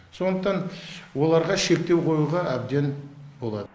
сондықтан оларға шектеу қоюға әбден болады